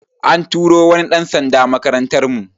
An turo wani ɗan sanda makarantar mu